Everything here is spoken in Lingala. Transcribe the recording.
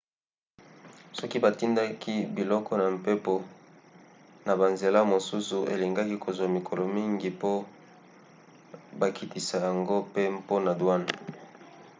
soki batindaki biloko na mpepo na banzela mosusu elingaki kozwa mikolo mingi po bakitisa yango pe mpona douanes